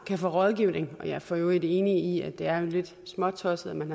kan få rådgivning jeg er for øvrigt enig i at det er lidt småtosset at man